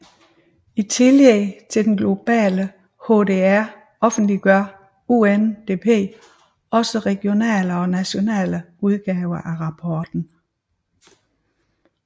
I tillæg til den globale HDR offentliggør UNDP også regionale og nationale udgaver af rapporten